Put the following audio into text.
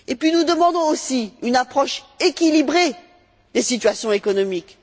Nous demandons aussi une approche équilibrée des situations économiques.